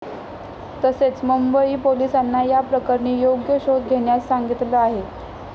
तसेच मुंबई पोलिसांना या प्रकरणी योग्य शोध घेण्यास सांगितलं आहे.